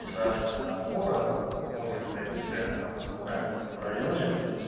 и шарашкина контора смотришь блять цены на хуй на циане в этом районе